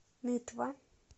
нытва